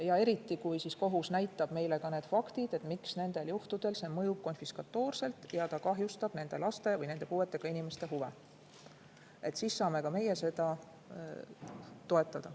Ja eriti kui kohus näitab meile ette faktid, miks nendel juhtudel see mõjub konfiskatoorselt ja kahjustab nende laste või nende puuetega inimeste huve, siis saame ka meie seda toetada.